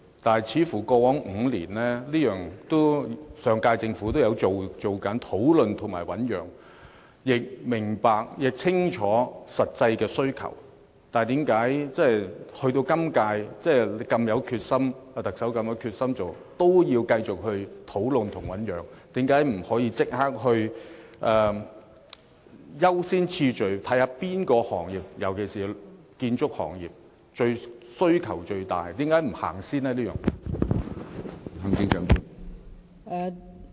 況且，似乎在過往5年，上屆政府都有做這些事，亦清楚明白實際的需求，但為何即使本屆特首如此有決心，也要繼續討論及醞釀，為何不可以優先次序，看看哪個行業——尤其是建築業——的需求最大而先行處理？